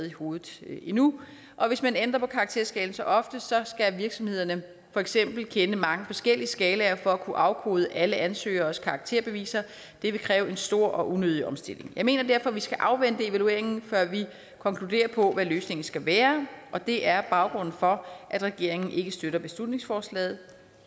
i hovedet nu og hvis man ændrer på karakterskalaen så ofte skal virksomhederne for eksempel kende mange forskellige skalaer for at kunne afkode alle ansøgeres karakterbeviser og det vil kræve en stor og unødig omstilling jeg mener derfor at vi skal afvente evalueringen før vi konkluderer på hvad løsningen skal være og det er baggrunden for at regeringen ikke støtter beslutningsforslaget